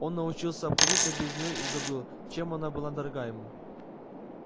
он научился обходиться без неё и забыл чем она была дорога ему